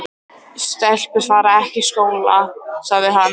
Stelpur fara ekki í skóla, sagði hann.